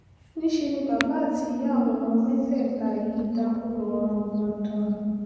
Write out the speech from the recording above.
níṣẹ́ ni bàbá àti ìyá àwọn ọmọ mẹ́tẹ̀ẹ̀ta yìí dákú lọ rangbọndan